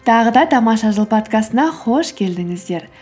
тағы да тамаша жыл подкастына қош келдіңіздер